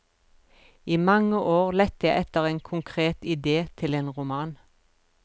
I mange år lette jeg etter en konkret ide til en roman.